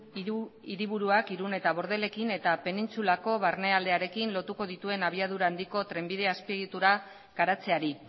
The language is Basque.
hiru hiriburuak irún eta bordelekin eta penintsulako barnealdearekin lotuko dituen abiadura handiko trenbide azpiegitura garatzeari